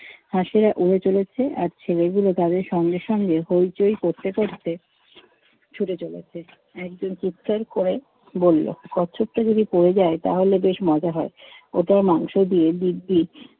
হাঁসেরা উড়ে চলেছে আর ছেলেগুলো তাদের সঙ্গে সঙ্গে হইচই করতে করতে ছুটে চলেছে। একজন চিৎকার করে বলল, কচ্ছপটা যদি পড়ে যায় তাহলে বেশ মজা হয়। ওটার মাংস দিয়ে দিব্যি